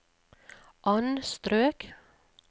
anstrøk